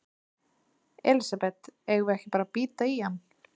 Elísabet: Eigum við ekki bara að bíta í hann?